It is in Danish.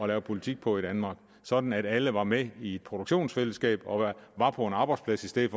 lave politik på i danmark sådan at alle var med i et produktionsfællesskab og var på en arbejdsplads i stedet